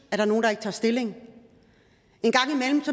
der er nogle der ikke tager stilling